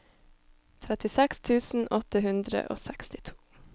trettiseks tusen åtte hundre og sekstito